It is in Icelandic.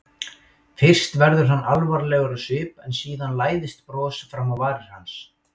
Fyrst verður hann alvarlegur á svip en síðan læðist bros fram á varir hans.